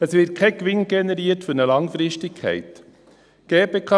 Es wird kein Gewinn für eine Langfristigkeit generiert.